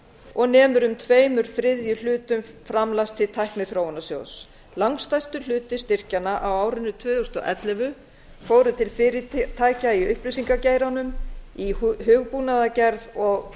og nemur um tvo þriðju framlags til tækniþróunarsjóðs langstærstur hluti styrkjanna á árinu tvö þúsund og ellefu fór til fyrirtækja í upplýsingageiranum í hugbúnaðargerð og